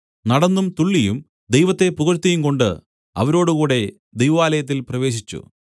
നടന്നും തുള്ളിയും ദൈവത്തെ പുകഴ്ത്തിയുംകൊണ്ട് അവരോടുകൂടെ ദൈവാലയത്തിൽ പ്രവേശിച്ചു